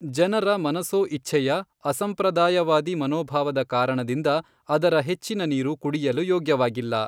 ಜನರ ಮನಸೋಇಚ್ಛೆಯ, ಅಸಂಪ್ರದಾಯವಾದಿ ಮನೋಭಾವದ ಕಾರಣದಿಂದ ಅದರ ಹೆಚ್ಚಿನ ನೀರು ಕುಡಿಯಲು ಯೋಗ್ಯವಾಗಿಲ್ಲ.